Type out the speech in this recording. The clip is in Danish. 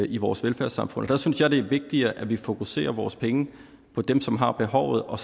i vores velfærdssamfund der synes jeg det er vigtigere at vi fokuserer vores penge på dem som har behovet og